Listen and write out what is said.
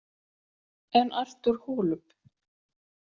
En Artur Holub?